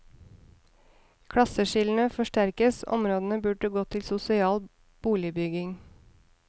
Klasseskillene forsterkes, området burde gått til sosial boligbygging.